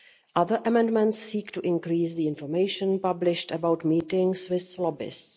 Other amendments seek to increase the information published about meetings with lobbyists.